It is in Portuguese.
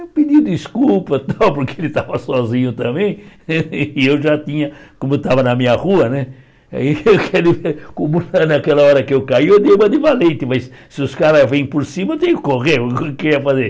Eu pedi desculpa, tal porque ele estava sozinho também, e eu já tinha, como estava na minha rua né, naquela hora que eu caí, eu dei uma de valente, mas se os caras vêm por cima, eu tenho que correr, o que eu ia fazer?